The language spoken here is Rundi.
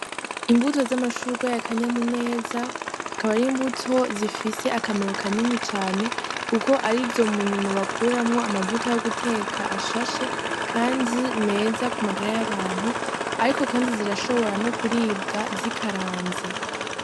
Imbuto z'amashurwe ya kanyamuneza akaba ari imbuto zifise akamaro kanini cane, kuko ari zo munyuma bakuramwo amavuta yo guteka ashashe, kandi meza ku magara y'abantu, ariko, kandi zirashobora no kuribwa zikaranze.